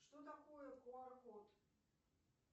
что такое куар код